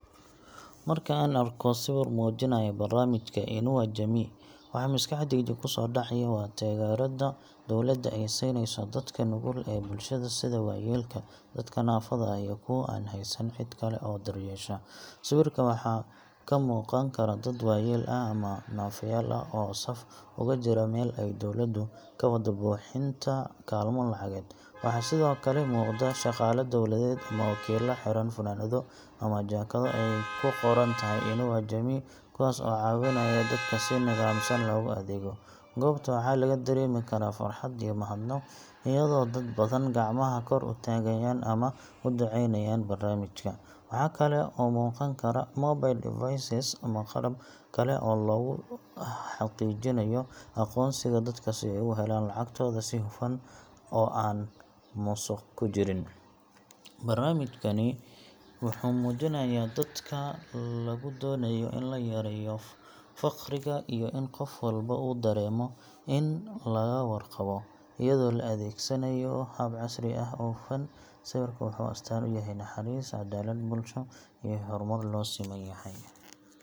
Marka aan arko sawir muujinaya barnaamijka Inua Jamii, waxa maskaxdayda kusoo dhacaya waa taageerada dowladda ay siineyso dadka nugul ee bulshada sida waayeelka, dadka naafada ah, iyo kuwa aan haysan cid kale oo daryeesha. Sawirka waxaa ka muuqan kara dad waayeel ah ama naafayaal ah oo saf ugu jira meel ay dowladdu ka wado bixinta kaalmo lacageed. Waxaa sidoo kale muuqda shaqaale dowladeed ama wakiillo xiran funaanado ama jaakado ay ku qoran tahay Inua Jamii, kuwaas oo caawinaya dadka si nidaamsan loogu adeego. Goobta waxaa laga dareemi karaa farxad iyo mahadnaq, iyadoo dad badan gacmaha kor u taagayaan ama u ducaynayaan barnaamijka. Waxaa kale oo muuqan kara mobile devices ama qalab kale oo lagu xaqiijinayo aqoonsiga dadka si ay u helaan lacagtooda si hufan oo aan musuq ku jirin. Barnaamijkani wuxuu muujinayaa dadaalka lagu doonayo in la yareeyo faqriga iyo in qof walba uu dareemo in laga warqabo, iyadoo la adeegsanayo hab casri ah oo hufan. Sawirka wuxuu astaan u yahay naxariis, cadaalad bulsho, iyo horumar loo siman yahay.